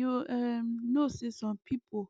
you um know say some people